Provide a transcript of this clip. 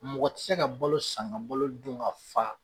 Mɔgɔ ti ka balo san ka balo dun ka fa